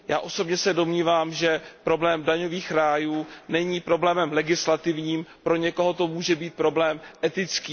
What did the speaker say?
Já osobně se domnívám, že problém daňových rájů není problémem legislativním, pro někoho to může být problém etický.